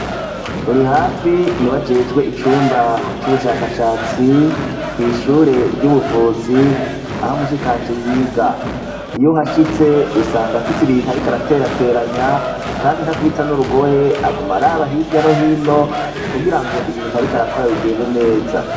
Rurihafi niwe ajejwe icumba y'ubushakashatsi kw' ishure ry'ubuvuzi aho mushikanje yiga. Iyo uhashitse usanga afitse ibintu ariko araterateranya kandi ntakubita n'urugohe, aguma araba hirya no hino kugira ngo ibintu ariko arakora bigende neza.